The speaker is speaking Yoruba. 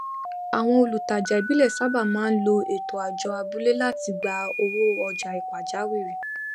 àwọn olùtajà ìbílẹ sábà máa n lo ètò àjọ abúlé láti gba owó ọjà pàjáwìrì